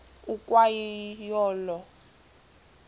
ukwa yo olo